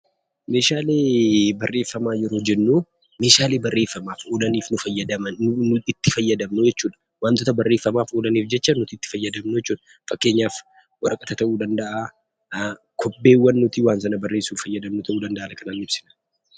Meeshaalee barreeffamaa yeroo jennuu, Meeshaalee barreeffamaaf oolan nu fayyadan nuti, nuti itti fayyadamnuu jechuudha. Waantota barreeffamaaf oolaniif nuti itti fayyadamnuu jechuudha. Fakkeenyaaf waraqata ta'uu danda'a, kobbeewwan nuti waan sana barreessuuf ta'an ta'uu danda'a,